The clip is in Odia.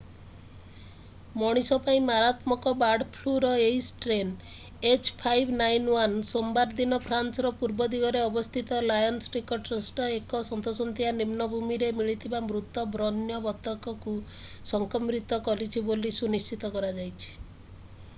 ମଣିଷ ପାଇଁ ମାରାତ୍ମକ ବାର୍ଡ ଫ୍ଲୁର ଏହି ଷ୍ଟ୍ରେନ୍‍ h5n1 ସୋମବାର ଦିନ ଫ୍ରାନ୍ସର ପୂର୍ବ ଦିଗରେ ଅବସ୍ଥିତ ଲାୟନ୍‍ ନିକଟସ୍ଥ ଏକ ସନ୍ତସନ୍ତିଆ ନିମ୍ନ ଭୂମିରେ ମିଳିଥିବା ମୃତ ବଣ୍ୟ ବତକକୁ ସଂକ୍ରମିତ କରିଛି ବୋଲି ସୁନିଶ୍ଚିତ କରାଯାଇଛି।